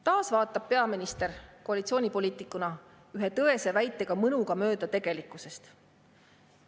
Taas vaatab peaminister koalitsioonipoliitikuna ühe tõese väitega mõnuga mööda tegelikkusest.